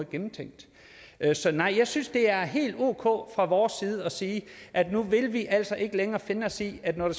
gennemtænkt så jeg synes det er helt ok fra vores side at sige at nu vil vi altså ikke længere finde os i at når